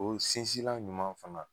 O sinsilan ɲuman fana